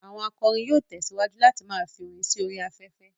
Àwọn akọrin yóò tẹ̀síwájú láti ma fi orin sí orí afẹ́fẹ́